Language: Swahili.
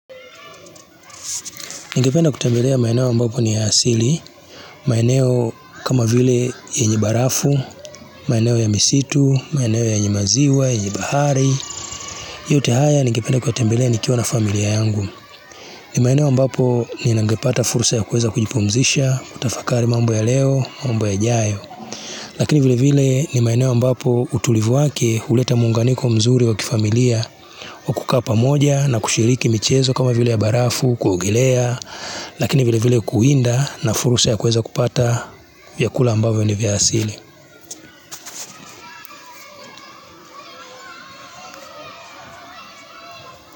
Nigependa kutembelea maeneo ambapo ni ya asili, maeneo kama vile yenye barafu, maeneo ya misitu, maeneo yenye maziwa, yenye bahari, yote haya ningependa kuyatembelea ni kiwa na familia yangu. Ni maeneo ambapo ningepata fursa ya kuweza kujipumzisha, kutafakari mambo ya leo, mambo ya jayo. Lakini vile vile ni maeneo ambapo utulivu wake huleta muunganiko mzuri wakifamilia, wakukaa pamoja na kushiriki michezo kama vile ya barafu, kuogelea. Lakini vile vile kuinda na fursa ya kuweza kupata vyakula ambavyo ni vya asili.